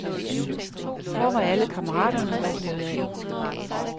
Hvor var alle kammeraterne dog blevet af?